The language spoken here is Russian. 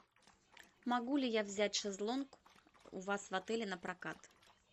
могу ли я взять шезлонг у вас в отеле напрокат